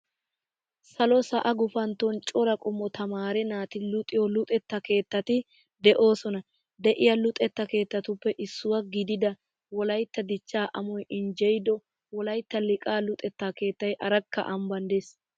Salo sa"a guufanton cora qommo taamare naati luuxiyo luuxetta keettati de"eosona.de"eiya luuxetta keettatuppe issuwa giidida wolaytta dichcha amoy injjeyido wolaytta liiqaa luxetta keettayi arakka amban de "ees.